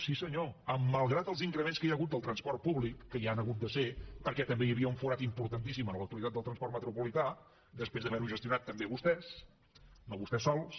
sí senyor malgrat els increments que hi ha hagut del transport públic que hi han hagut de ser perquè també hi havia un forat importantíssim en l’autoritat del transport metropolità després d’haver ho gestionat també vostès no vostès sols